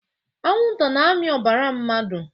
Anwụnta na-amị ọbara mmadụ